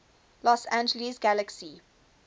los angeles galaxy